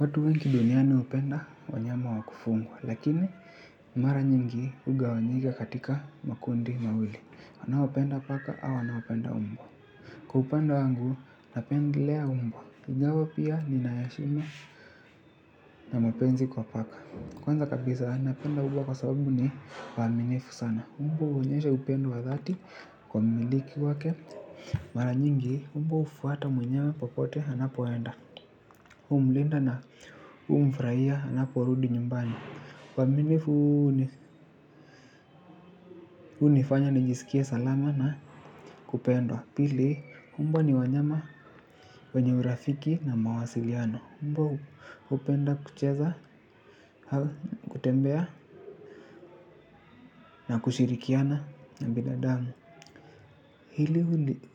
Watu wengi duniani hupenda wanyama wa kufugwa lakini mara nyingi hugawanyika katika makundi mawili wanaopenda paka au wanaopenda mbwa. Kwa upande wangu napendelea mbwa ingawa pia ninaheshimu na mapenzi kwa paka kwanza kabisa napenda mbwa kwa sababu ni waaminifu sana mbwa huonyesha upendo wa dhati kwa mmiliki wake. Mara nyingi mbwa hufuata mwenyewe popote anapoenda humlinda na humfurahia anaporudi nyumbani uaminifu huu hunifanya nijisikie salama na kupendwa. Pili mbwa ni wanyama wenye urafiki na mawasiliano mbwa hupenda kucheza, kutembea na kushirikiana na binadamu.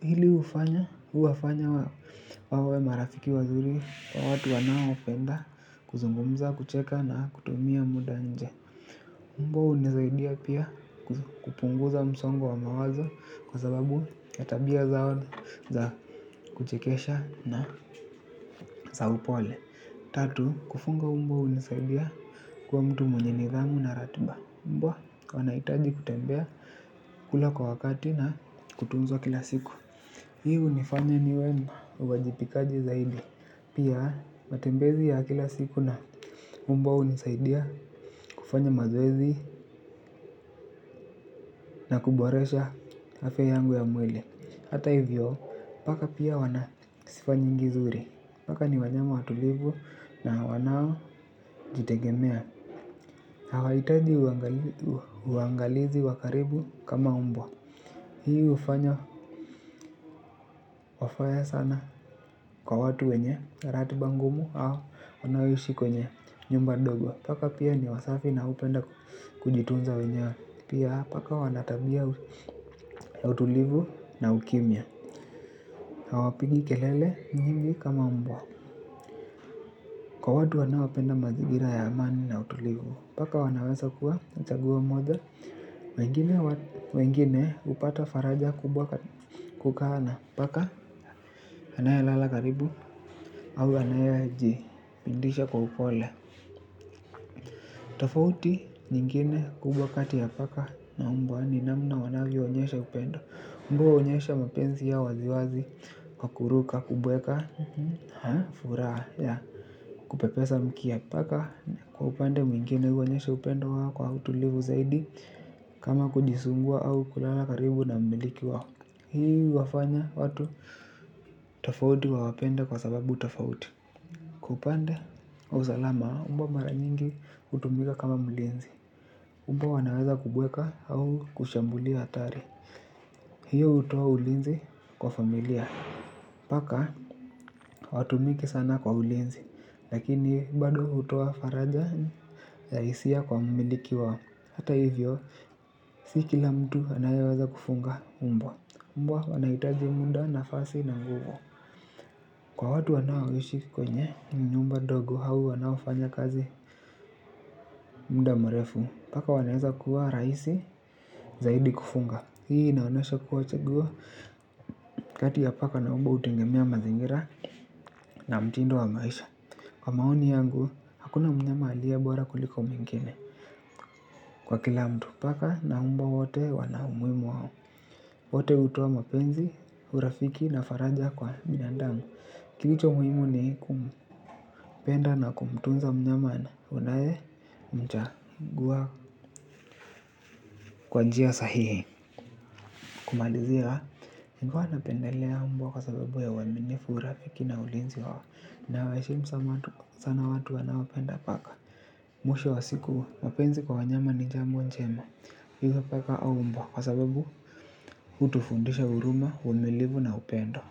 Hili hufanya, huwafanya wawe marafiki wazuri wa watu wanaopenda, kuzungumza, kucheka na kutumia muda nje. Mbwa hunisaidia pia kupunguza msongo wa mawazo kwa sababu ya tabia zao za kuchekesha na za upole. Tatu, kufuga mbwa hunisaidia kuwa mtu mwenye nidhamu na ratiba. Mbwa wanahitaji kutembea kula kwa wakati na kutunzwa kila siku. Hiu hunifanya niwe mwajibikaji zaidi. Pia matembezi ya kila siku na mbwa hunisaidia kufanya mazoezi na kuboresha afya yangu ya mwili. Hata hivyo, paka pia wana sifa nyingi zuri. Paka ni wanyama watulivu na wanaojitegemea. Hawahitaji uangalizi wa karibu kama mbwa. Hii hufanya wafae sana kwa watu wenye, ratiba ngumu au wanaoishi kwenye nyumba dogo. Paka pia ni wasafi na hupenda kujitunza wenyewe. Pia paka wana tabia ya utulivu na ukimya. Hawapigi kelele nyingi kama mbwa. Kwa watu wanaopenda mazingira ya amani na utulivu paka wanaweza kuwa na chaguo moja. Wengine hupata faraja kubwa kukaa na paka anayelala karibu au anayeji pindisha kwa upole. Tofauti nyingine kubwa kati ya paka na mbwa ni namna wanavyoonyesha upendo. Mbwa huonyesha mapenzi yao waziwazi kwa kuruka, kubweka. Haa, furaha kupepesa mkia paka kwa upande mwingine huonyesha upendo wako. Kwa utulivu zaidi kama kujisugua au kulala karibu na mmiliki wako. Hii huwafanya watu tofauti wawapende kwa sababu tofauti. Kwa upande, wa usalama mbwa mara nyingi hutumika kama mlinzi. Mbwa wanaweza kubweka au kushambulia atari. Hiyo hutoa ulinzi kwa familia. Paka hawatumiki sana kwa ulinzi. Lakini bado hutoa faraja ya hisia kwa mmiliki wao. Hata hivyo si kila mtu anayeweza kufuga mbwa mbwa wanahitaji muda nafasi na nguvu. Kwa watu wanaoishi kwenye nyumba dogo au wanaofanya kazi muda mrefu paka wanaweza kuwa rahisi zaidi kufuga. Hii inaonyesha kuwa chaguo kati ya paka na mbwa hutegemea mazingira na mtindo wa maisha. Kwa maoni yangu, hakuna mnyama aliyebora kuliko mwingine. Kwa kila mtu paka na mbwa wote wana umuhimu wao. Wote hutoa mapenzi, urafiki na faraja kwa binandamu. Kilicho muhimu ni kumpenda na kumtunza mnyama na unayemchagua kwa njia sahihi. Kumalizia, nilikua napendelea mbwa kwa sababu uaminifu urafiki na ulinzi wao. Na waheshimu sana watu wanaopenda paka. Mwisho wa siku, mapenzi kwa wanyama ni jambo njema. Hivyo paka au mbwa, kwa sababu hutufundisha huruma, uvumilivu na upendo.